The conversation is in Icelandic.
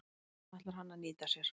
Það ætlar hann að nýta sér.